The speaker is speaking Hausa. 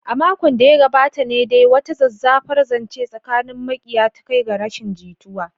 A makon da ya gabata ne dai wata zazzafar zance tsakanin makiya ta kai ga rashin jituwa.